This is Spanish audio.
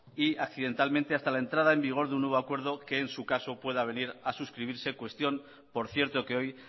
y accidentalmente hasta la entrada en vigor de un nuevo acuerdo que en su caso pueda venir a suscribirse cuestión por cierto que hoy